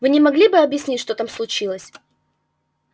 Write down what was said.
вы не могли бы объяснить что там случилось